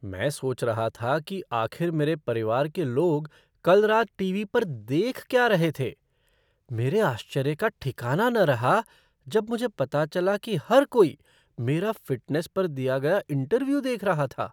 मैं सोच रहा था कि आखिर मेरे परिवार के लोग कल रात टीवी पर देख क्या रहे थे। मेरे आश्चर्य का ठिकाना न रहा जब मुझे पता चला कि हर कोई मेरा फ़िटनेस पर दिया गया इंटरव्यू देख रहा था!